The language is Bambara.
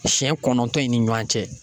Siɲɛ kɔnɔntɔn in ni ɲuan cɛ.